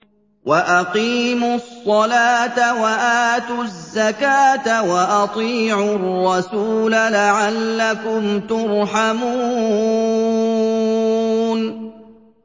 وَأَقِيمُوا الصَّلَاةَ وَآتُوا الزَّكَاةَ وَأَطِيعُوا الرَّسُولَ لَعَلَّكُمْ تُرْحَمُونَ